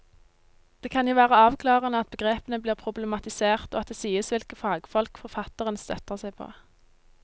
Det kan jo være avklarende at begrepene blir problematisert og at det sies hvilke fagfolk forfatteren støtter seg på.